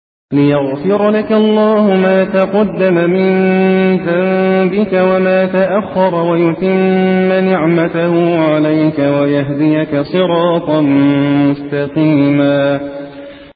لِّيَغْفِرَ لَكَ اللَّهُ مَا تَقَدَّمَ مِن ذَنبِكَ وَمَا تَأَخَّرَ وَيُتِمَّ نِعْمَتَهُ عَلَيْكَ وَيَهْدِيَكَ صِرَاطًا مُّسْتَقِيمًا